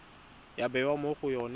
ya bewa mo go yone